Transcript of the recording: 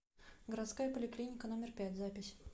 городская поликлиника номер пять запись